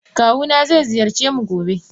Kawuna ze ziyarcemu gobe.